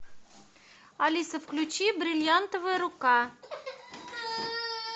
алиса включи бриллиантовая рука